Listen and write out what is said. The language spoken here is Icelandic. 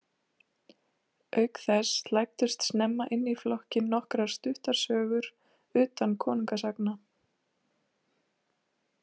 Auk þess slæddust snemma inn í flokkinn nokkrar stuttar sögur utan konungasagna.